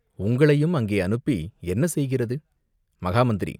உங்களையும் அங்கே அனுப்பி என்ன செய்கிறது?" "மகா மந்திரி!